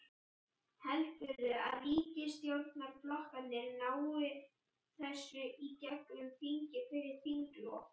Heldurðu að ríkisstjórnarflokkarnir nái þessu í gegnum þingið fyrir þinglok?